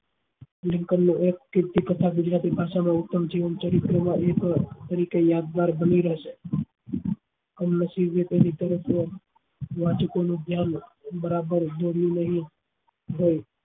Lincoln નું એક એક કે તેથી કથા ગુજરાતી ભાષા માં ઉત્પન્ન જીવન ચરિત્ર નું યુગ એ રીતે યાદગાર બની રેસે વાચકો નું ધ્યાન બરાબર દોર્યું નહી હોય